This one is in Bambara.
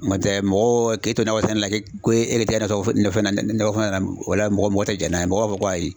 N'o tɛ mɔgɔ k'e to nakɔ sɛnɛ la o la mɔgɔ tɛ jɛn n'a ye mɔgɔw b'a fɔ ko ayi.